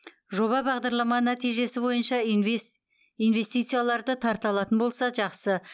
жоба бағдарлама нәтижесі бойынша инвестицияларды тарта алатын болса жақсы